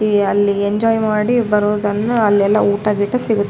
ಈ ಅಲ್ಲಿ ಎಂಜಾಯ್ ಮಾಡಿ ಬರೋದನ್ನ ಅಲ್ಲಿ ಎಲ್ಲ ಊಟ ಗೀಟ ಸಿಗು --